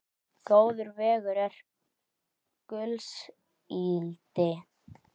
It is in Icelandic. Góður vegur er gulls ígildi.